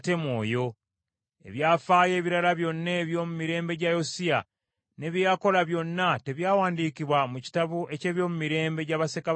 Ebyafaayo ebirala byonna eby’omu mirembe gya Yosiya, ne bye yakola byonna, tebyawandiikibwa mu kitabo eky’ebyomumirembe gya bassekabaka ba Yuda?